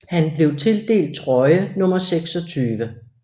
Han blev tildelt trøje nummer 26